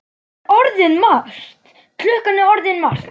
Klukkan er orðin margt.